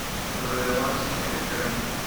новозеландские пироги